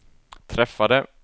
träffade